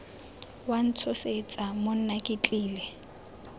wa ntshosetsa monna ke tlile